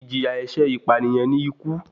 Ìjìyà ẹ̀ṣẹ̀ ìpànìyàn ní ikú.